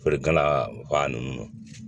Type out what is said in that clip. O de ka na ba nunnu